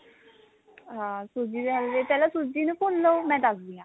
ਹਾਂ ਸੂਜੀ ਦੇ ਹਲਵੇ ਪਹਿਲਾਂ ਸੂਜੀ ਨੂੰ ਭੁੰਨ ਲੋ ਮੈਂ ਦਸਦੀ ਆ